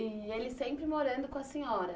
E ele sempre morando com a senhora?